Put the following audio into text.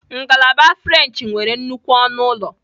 Ngalaba frenchị nwere nnukwu ọnụ ụlọ.